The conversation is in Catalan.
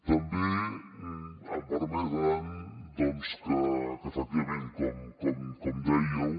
també em permetran doncs que efectivament com dèieu